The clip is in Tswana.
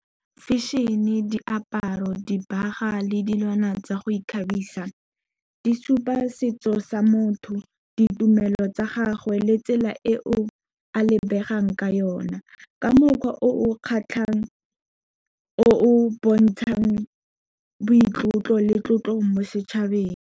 Fashion-e, diaparo, dibaga le dilwana tsa go ikgabisa di supa setso sa motho, ditumelo tsa gagwe, le tsela eo a lebegang ka yone ka mokgwa o o kgatlhang o o bontshang boitlotlo le tlotlo mo setšhabeng.